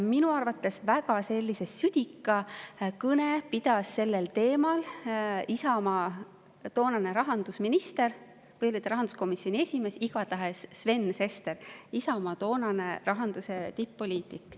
Minu arvates väga südika kõne pidas sellel teemal Isamaa toonane rahandusminister – või oli ta tookord rahanduskomisjoni esimees –, igatahes oli see Sven Sester, Isamaa toonane rahanduse tipp-poliitik.